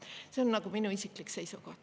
See on minu isiklik seisukoht.